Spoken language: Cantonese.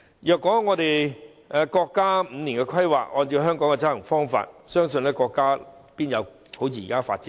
如果國家的五年規劃也按照香港的執行方法，國家不可能好像現時般發展迅速。